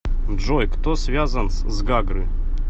джой кто связан с гагры